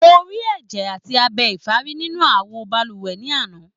Mo rí ẹjẹ àti abẹ ìfárun nínú awo balùwẹ̀ ní àná.